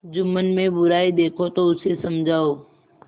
जुम्मन में बुराई देखो तो उसे समझाओ